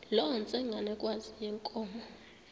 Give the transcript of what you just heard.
loo ntsengwanekazi yenkomo